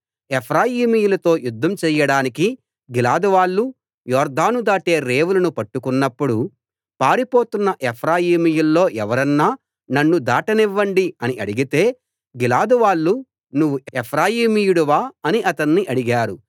ఎఫ్రాయిమీయులతో యుద్ధం చెయ్యడానికి గిలాదువాళ్ళు యొర్దాను దాటే రేవులను పట్టుకొన్నప్పుడు పారిపోతున్న ఎఫ్రాయిమీయుల్లో ఎవరన్నా నన్ను దాటనివ్వండి అని అడిగితే గిలాదువాళ్ళు నువ్వు ఎఫ్రాయిమీయుడవా అని అతన్ని అడిగారు